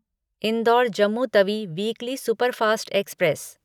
indoor Jammu Tawi weekly superfast express